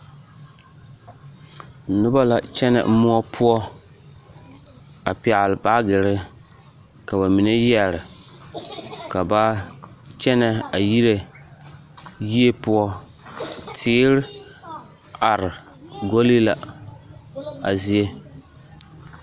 Noba la kyɛnɛ moɔ poɔ a pɛɡele baaɡere ka ba mine yɛre ka ba kyɛnɛ a yire yie poɔ teer are ɡoli la a zie.